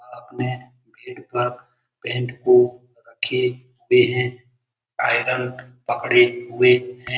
अपने पेट तक पैंट को रखे हुए हैं। आयरन पकड़े हुए हैं।